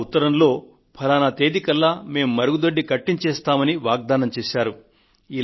ఆ ఉత్తరంలో ఫలానా తేదీ కల్లా మేం మరుగుదొడ్డిని కట్టించేస్తామన్న వాగ్దానం రాసి ఉంది